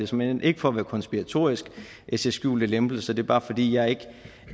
såmænd ikke for at være konspiratorisk at jeg ser skjulte lempelser det er bare fordi jeg